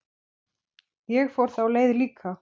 Ég fór þá leið líka.